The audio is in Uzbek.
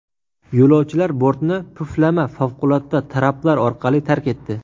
Yo‘lovchilar bortni puflama favqulodda traplar orqali tark etdi.